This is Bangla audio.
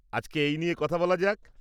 আজকে এই নিয়ে কথা বলা যাক।